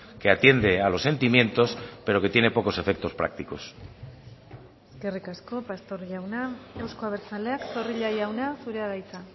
que atiende a los sentimientos pero que tiene pocos efectos prácticos eskerrik asko pastor jauna euzko abertzaleak zorrilla jauna zurea da hitza